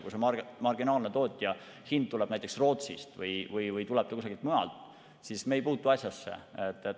Kui see marginaalse tootja hind tuleb näiteks Rootsist või kusagilt mujalt, siis meie ei puutu asjasse.